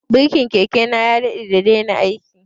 Birkin keke na ya jima da daina aiki